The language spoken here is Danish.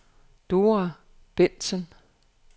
Dora Bengtsen